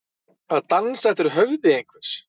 Að dansa eftir höfði einhvers